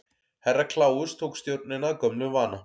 Herra Kláus tók stjórnina að gömlum vana.